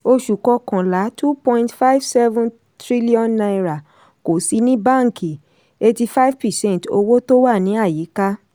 oṣù kọkànlá: two point five seven trillion naira kò sí ní báńkì eighty five percent owó tó wà ní àyíká.